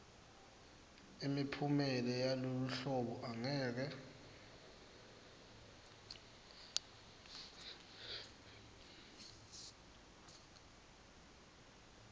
imiphumela yaloluhlolo angeke